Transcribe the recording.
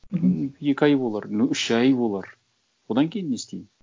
мхм ну екі ай болар ну үш ай болар одан кейін не істеймін